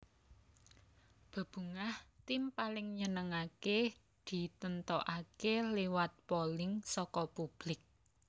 Bebungah Tim Paling Nyenengake ditentokaké liwat polling saka publik